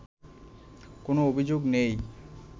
কোন অভিযোগ নেই